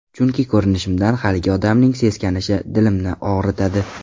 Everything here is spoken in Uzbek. Chunki ko‘rinishimdan haligi odamning seskanishi dilimni og‘ritadi.